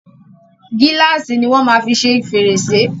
Gíláàsì ni wọ́n máa fi ṣe fèrèsè.